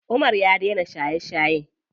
Umar ya daina shaye shaye.